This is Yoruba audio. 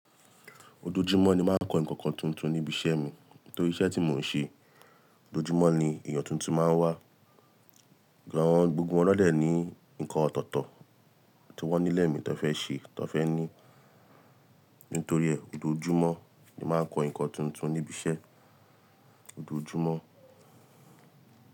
Ojojumọ ni màá n kọ nǹkan tuntun níbi iṣẹ́ mi. Nítorí iṣẹ́ ti mò ń ṣe, ojoojumọ ni èèyàn tuntun máa ń wà. Gbo awọn gbogbo wọn dẹ ní nǹkan ọ̀tọ̀ọ̀tọ̀ tí wọ́n nílẹ̀ mí tọ fé ṣe, tọ fé ní. Nítorí ẹ, ojoojumọ ni màá ń kọ nǹkan tuntun níbi iṣẹ́, ojoojumọ.